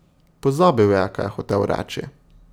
Pozabil je, kaj je hotel reči.